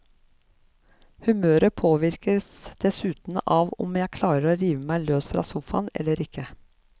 Humøret påvirkes dessuten av om jeg klarer å rive meg løs fra sofaen eller ikke.